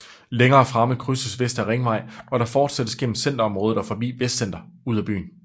Længere fremme krydses Vestre Ringvej og der fortsættes gennem centerområdet og forbi Vestcenter ud af byen